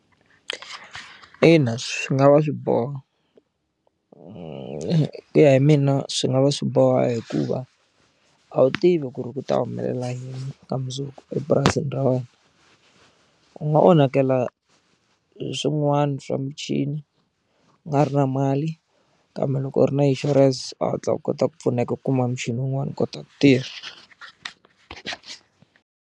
Ina swi nga va swi boha ku ya hi mina swi nga va swi boha hikuva a wu tivi ku ri ku ta humelela yini ka mundzuku epurasini ra wena u nga onhakela hi swin'wana swa michini u nga ri na mali kambe loko u ri na insurance u hatla u kota ku pfuneka ku kuma michini wun'wana u kota ku tirha.